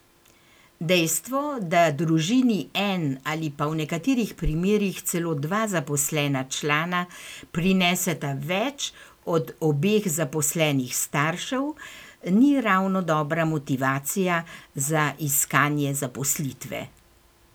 Dejstvo, da družini en ali pa v nekaterih primerih celo dva zaposlena člana prineseta več od obeh zaposlenih staršev, ni ravno dobra motivacija za iskanje zaposlitve.